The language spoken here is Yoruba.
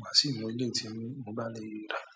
ma si ra e lè tí mo bá le rí i dára.